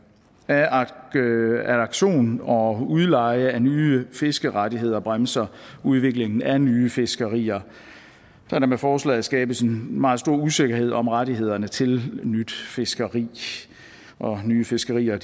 at auktionen og udleje af nye fiskerettigheder bremser udviklingen af nye fiskerier da der med forslaget skabes en meget stor usikkerhed om rettighederne til nyt fiskeri og nye fiskerier